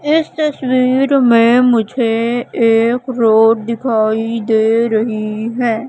इस तस्वीर में मुझे एक रोड दिखाई दे रही है।